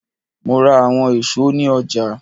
Mo ra awọn èso ni ọja.